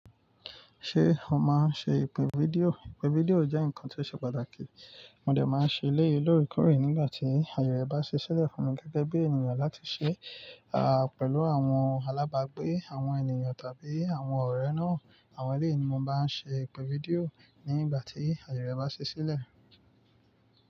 Ṣé o máa ń ṣe ìpè fídíò? Ìpè fídíò jẹ́ nǹkan tí ó ṣe pàtàkì. Mo lè máa ṣe léye lórí kórè nígbà tí ayẹre bá ṣẹ́ ṣílẹ̀ fún mi gẹ́gẹ́ bí ènìyàn láti ṣe, à, pẹ̀lú àwọn alábàgbé, àwọn ènìyàn tàbí àwọn ọ̀rẹ́ náà, àwọn eléèni mo máa ń ṣe ìpè fídíò nígbà tí ayẹre bá ṣẹ́ ṣílẹ̀.